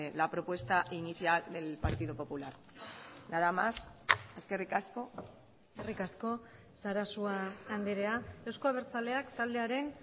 la propuesta inicial del partido popular nada más eskerrik asko eskerrik asko sarasua andrea euzko abertzaleak taldearen